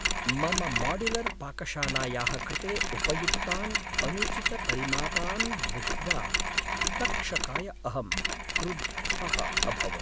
मम माड्युलर्पाकशालायाः कृते उपयुक्तान् अनुचितपरिमापान् दृष्ट्वा तक्षकाय अहं क्रुद्धः अभवम्।